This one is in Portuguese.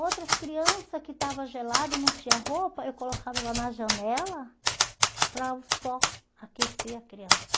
Outras crianças que estavam geladas, não tinham roupa, eu colocava ela na janela para o sol aquecer a criança.